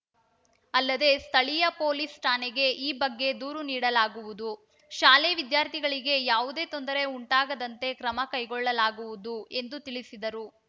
ಅಲ್ಲದೇ ಸ್ಥಳೀಯ ಪೊಲೀಸ್‌ ಠಾಣೆಗೆ ಈ ಬಗ್ಗೆ ದೂರು ನೀಡಲಾಗುವುದು ಶಾಲೆ ವಿದ್ಯಾರ್ಥಿಗಳಿಗೆ ಯಾವುದೇ ತೊಂದರೆ ಉಂಟಾಗದಂತೆ ಕ್ರಮ ಕೈಗೊಳ್ಳಲಾಗುವುದು ಎಂದು ತಿಳಿಸಿದರು